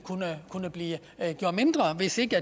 kunne blive gjort mindre hvis ikke